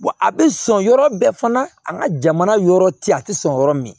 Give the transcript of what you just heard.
a bɛ sɔn yɔrɔ bɛɛ fana an ka jamana yɔrɔ te a te sɔn yɔrɔ min